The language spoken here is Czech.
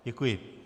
Děkuji.